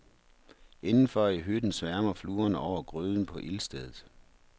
Indenfor i hytten sværmer fluerne over gryden på ildstedet.